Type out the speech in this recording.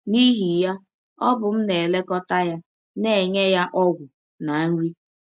N’ihi ya, ọ bụ m na - elekọta ya, na - enye ya ọgwụ na nri.